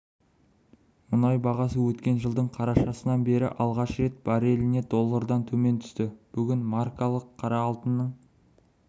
мұнай бағасы өткен жылдың қарашасынан бері алғаш рет барреліне доллардан төмен түсті бүгін маркалы қара алтынның